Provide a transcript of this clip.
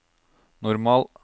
normal